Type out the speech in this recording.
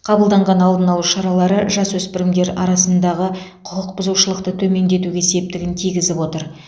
қабылданған алдын алу шаралары жасөспірімдер арасындағы құқық бұзушылықты төмендетуге септігін тигізіп отыр